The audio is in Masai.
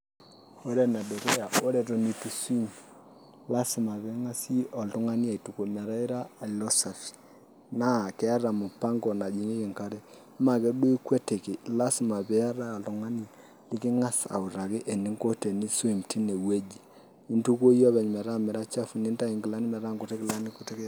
Ore enedukuya ore eton itu swim lasima pee eng'as oltung'ani aituku metaa ira safi naa keeta mpango najing'ieki enkare maa ajeduo ikuetiki lasima pee iata oltung'ani liking'as autaki eninko teniswim tineweui, intukuo iyie openy metaa ira safi nintayu inkilani metaa inkilani kutitik iata.